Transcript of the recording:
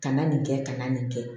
Kana nin kɛ kana nin kɛ